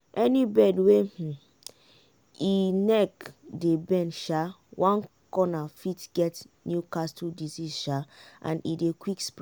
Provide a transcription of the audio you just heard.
any bird wey um e neck dey bend um one corner fit get newcastle disease um and e dey quick spread.